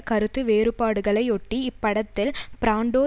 கருத்து வேறுபாடுகளையொட்டி இப்படத்தில் பிராண்டோ